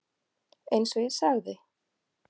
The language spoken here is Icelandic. Eins og ég sagði.